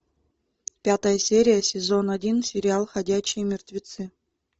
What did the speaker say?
пятая серия сезон один сериал ходячие мертвецы